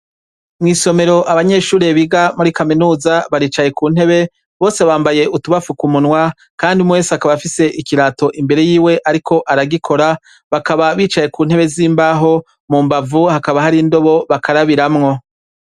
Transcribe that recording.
Mwisomero abanyeshure biga muri kaminuza baricaye kuntebe bose bambaye utubafuka umunwa kandi umwe wese akaba afise ikirato imbere yiwe ariko aragikora bakaba bicaye bicaye kuntebe zimbaho mumbavu hakaba hari indobo bakarabiramwo